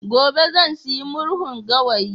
gobe zan sayi murhun gawayi